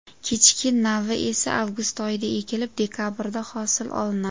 Kechki navi esa avgust oyida ekilib, dekabrda hosil olinadi.